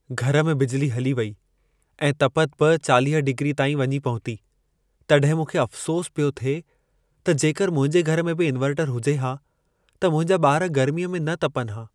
घर में बिजली हली वेई ऐं तपति बि 40 डिग्रीअ ताईं वञी पहुती। तॾहिं मूंखे अफ़्सोस पियो थिए त जेकर मुंहिंजे घर में बि इन्वर्टरु हुजे हा त मुंहिंजा ॿार गर्मीअ में न तपनि हा।